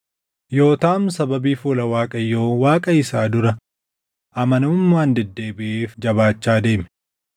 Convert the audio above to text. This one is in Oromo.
Yootaam sababii fuula Waaqayyo Waaqa isaa dura amanamummaan deddeebiʼeef jabaachaa deeme.